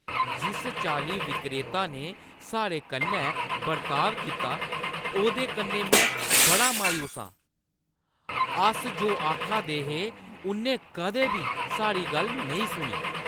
जिस चाल्ली विक्रेता ने साढ़े कन्नै बर्ताव कीता, ओह्दे कन्नै में बड़ी मायूस आं, अस जो आखा दियां हियां उʼन्नै कदें बी साढ़ी गल्ल नेईं सुनी।